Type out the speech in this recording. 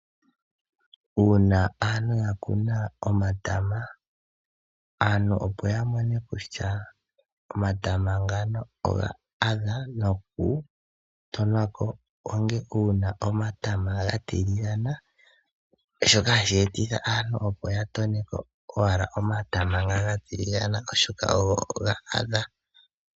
Uuna aantu ya kuna omatama, aantu opo ya mone kutya omatama ngano ofa adha noku tonwako onge uuna omatama ga tiligana, shoka hashi etitha aantu opo ya toneko owala omatama nga ga tiligane oshoka ogo ga adha.